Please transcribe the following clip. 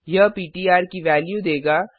यह इस पिट्र की वेल्यू देगा